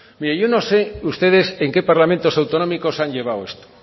yo no sé ustedes en que parlamentos autonómicos han llevado esto